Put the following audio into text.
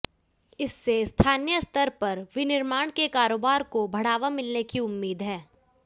इससे स्थानीय स्तर पर विनिर्माण के कारोबार को बढ़ावा मिलने की उम्मीद है